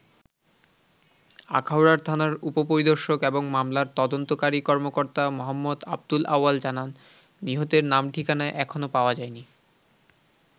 আখাউড়ার থানার উপপরিদর্শক এবং মামলার তদন্তকারী কর্মকর্তা মো. আবদুল আওয়াল জানান, নিহতের নাম ঠিকানা এখনো পাওয়া যায়নি।